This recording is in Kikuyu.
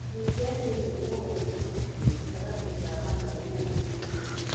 Wikendi ĩno nũ ngũthi gatagatĩ ga Mathare na Ulinzi.